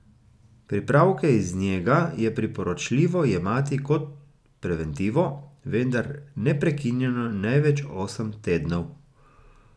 Pripravke iz njega je priporočljivo jemati kot preventivo, vendar neprekinjeno največ osem tednov.